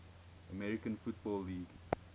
american football league